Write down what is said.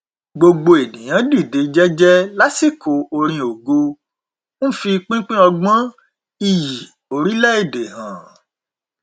gbogbo ènìyàn dìde jẹjẹ lásìkò orin ògo n fi pínpín ọgbọn iyì orílẹ èdè hàn